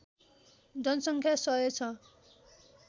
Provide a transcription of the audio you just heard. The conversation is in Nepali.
जनसङ्ख्या १०० छ